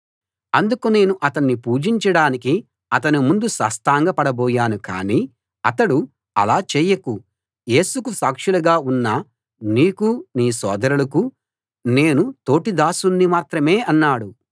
అందుకు నేను అతణ్ణి పూజించడానికి అతని ముందు సాష్టాంగపడబోయాను కానీ అతడు అలా చేయకు యేసుకు సాక్షులుగా ఉన్న నీకూ నీ సోదరులకూ నేను తోటి దాసుణ్ణి మాత్రమే అన్నాడు